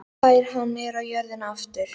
Fær hana niður á jörðina aftur.